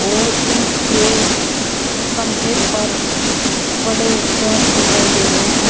और इनके कंधे पर बड़े बैग दिखाई दे रहे हैं।